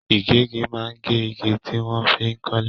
Igegi maa n ge igi tí wọ́n fi n kọ́lé.